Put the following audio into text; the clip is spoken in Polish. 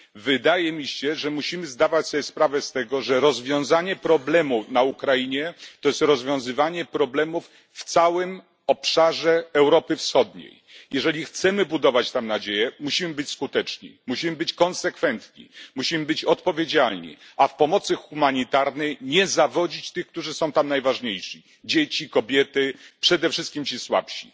Wydaje mi się, że musimy zdawać sobie sprawę z tego, że rozwiązanie problemu na Ukrainie to jest rozwiązywanie problemów w całym obszarze Europy Wschodniej. Jeżeli chcemy budować tam nadzieję, musimy być skuteczni, musimy być konsekwentni, musimy być odpowiedzialni, a w pomocy humanitarnej nie zawodzić tych, którzy są tam najważniejsi dzieci kobiety, przede wszystkim ci słabsi.